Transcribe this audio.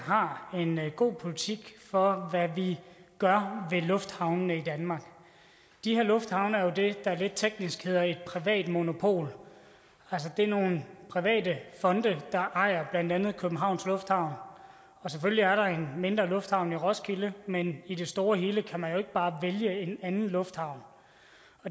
har en god politik for hvad vi gør ved lufthavnene i danmark de her lufthavne er jo det der lidt teknisk hedder et privat monopol det er nogle private fonde der ejer blandt andet københavns lufthavn selvfølgelig er der en mindre lufthavn i roskilde men i det store og hele kan man jo ikke bare vælge en anden lufthavn